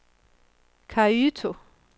Kyoto